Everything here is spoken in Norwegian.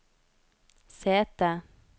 sete